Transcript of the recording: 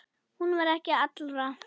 Hún var ekki allra.